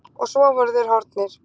Og svo voru þeir horfnir.